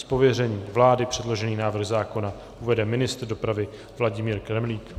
Z pověření vlády předložený návrh zákona uvede ministr dopravy Vladimír Kremlík.